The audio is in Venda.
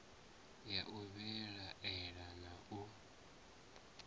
ya u vhilaela na u